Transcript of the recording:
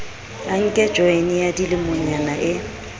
anke joyene ya dilemonyana e